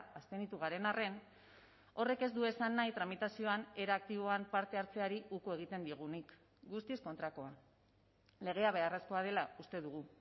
abstenitu garen arren horrek ez du esan nahi tramitazioan era aktiboan parte hartzeari uko egiten diogunik guztiz kontrakoa legea beharrezkoa dela uste dugu